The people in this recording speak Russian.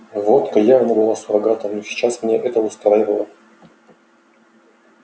водка явно была суррогатом но сейчас меня это устраивало